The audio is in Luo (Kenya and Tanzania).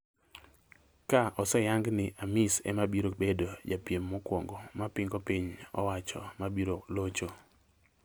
Ka oseyang ni Amis ema biro bedo japiem mokwongo ma pingo piny owacho mabiro locho